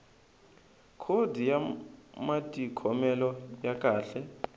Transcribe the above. khodi ya matikhomelo ya kahle